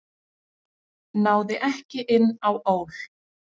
Náði ekki inn á ÓL